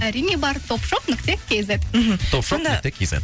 әрине бар топшоп нүкте кизет мхм топшоп нүкте кизет